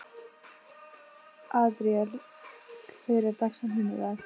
Adríel, hver er dagsetningin í dag?